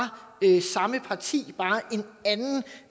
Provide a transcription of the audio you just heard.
samme parti